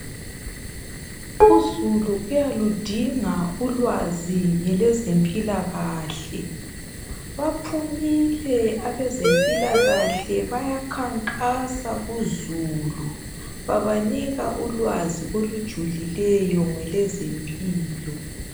Uzulu uyaludinga ulwazi ngelezempilakahle baphumile abezempilakahle bayakankasa kuzulu bababanika ulwazi olujulileyo ngelezempilo .